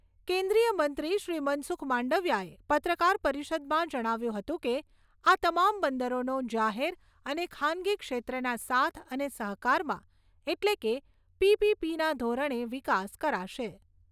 કેન્દ્રીય મંત્રી શ્રી મનસુખ માંડવીયાએ પત્રકાર પરિષદમાં જણાવ્યું હતું કે, આ તમામ બંદરોનો જાહેર અને ખાનગી ક્ષેત્રના સાથ અને સહકારમાં એટલે કે પીપીપીના ધોરણે વિકાસ કરાશે.